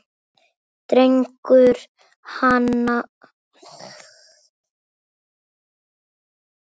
Dregur hana upp að sér.